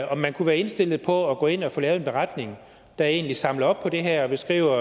om man kunne være indstillet på at gå ind og få lavet en beretning der egentlig samler op på det her og beskriver